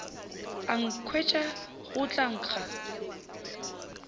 a nkhwetša go tla nkga